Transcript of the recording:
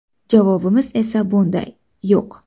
Javobimiz esa bunday: yo‘q.